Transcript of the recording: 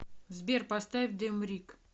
сбер поставь демрик